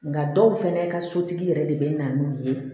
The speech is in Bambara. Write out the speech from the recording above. Nka dɔw fɛnɛ ka sotigi yɛrɛ de bɛ na n'u ye